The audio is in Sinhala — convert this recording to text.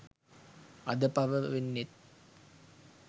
අද පව වෙන්නෙත්